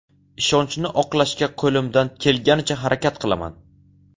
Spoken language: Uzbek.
Ishonchni oqlashga qo‘limdan kelganicha harakat qilaman.